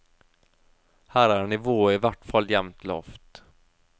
Her er nivået i hvert fall jevnt lavt.